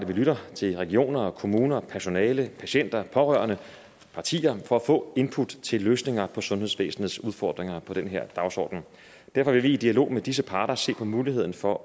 vi lytter til regioner kommuner personale patienter pårørende og partier for at få input til løsninger på sundhedsvæsenets udfordringer på den her dagsorden derfor vil vi i dialog med disse parter se på muligheden for